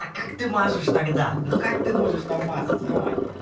а как ты мажешь тогда ну как ты можешь там мазать ё-моё